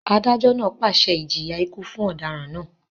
Adájọ́ náà pàṣẹ ìjìyà ikú fún ọ̀daràn náà